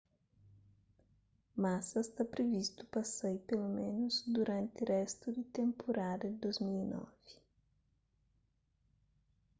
massa sta privistu pa sai peloménus duranti réstu di tenpurada di 2009